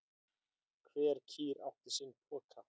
Hver kýr átti sinn poka.